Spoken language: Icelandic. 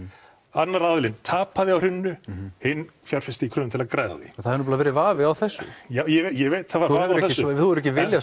annar aðilinn tapaði á hruninu hinn fjárfesti í kröfum til að græða á því það hefur nefnilega verið vafi á þessu já ég veit þú hefur ekki viljað